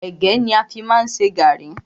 Ẹ̀gẹ́ ni a fi má ń ṣe gàrrí.